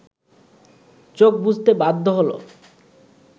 চোখ বুজতে বাধ্য হলো